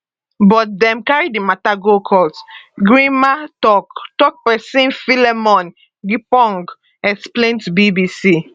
but dem carry di mata go court grnma tok tok pesin philemon gyapong explain to bbc